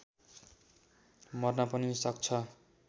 मर्न पनि सक्छ